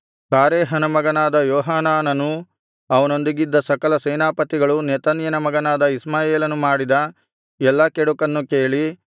ಕಾರೇಹನ ಮಗನಾದ ಯೋಹಾನಾನನೂ ಅವನೊಂದಿಗಿದ್ದ ಸಕಲ ಸೇನಾಪತಿಗಳೂ ನೆತನ್ಯನ ಮಗನಾದ ಇಷ್ಮಾಯೇಲನು ಮಾಡಿದ ಎಲ್ಲಾ ಕೆಡುಕನ್ನು ಕೇಳಿ